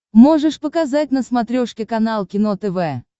можешь показать на смотрешке канал кино тв